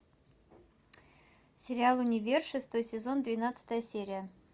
сериал универ шестой сезон двенадцатая серия